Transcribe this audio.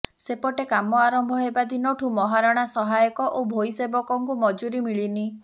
ସେପଟେ କାମ ଆରମ୍ଭ ହେବା ଦିନଠୁ ମହାରଣା ସହାୟକ ଓ ଭୋଇ ସେବକଙ୍କୁ ମଜୁରି ମିଳିନି